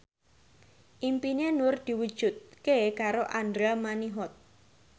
impine Nur diwujudke karo Andra Manihot